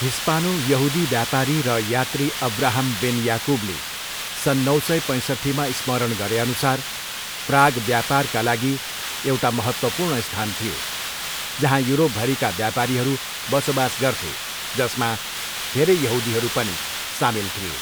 हिस्पानो यहुदी व्यापारी र यात्री अब्राहम बेन याकुबले सन् नौ सय पैँसट्ठीमा स्मरण गरेअनुसार प्राग व्यापारका लागि एउट महत्त्वपूर्ण स्थान थियो, जहाँ युरोपभरिका व्यापारीहरू बसोबास गर्थे, जसमा धेरै यहुदीहरू पनि सामेल थिए।